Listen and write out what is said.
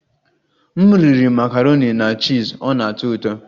M riri makaroni na chiz, ọ na-atọ ụtọ